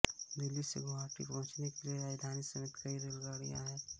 दिल्ली से गुवाहाटी पहुंचने के लिए राजधानी समेत कई रेलगाड़ियां हैं